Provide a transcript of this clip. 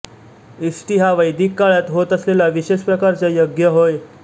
इष्टि हा वैदिक काळात होत असलेला विशेष प्रकारचा यज्ञ होय